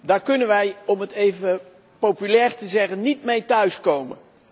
Daar kunnen wij, om het even populair te zeggen, niet mee thuiskomen.